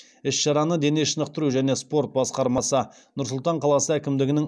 іс шараны дене шынықтыру және спорт басқармасы нұр сұлтан қаласы әкімдігінің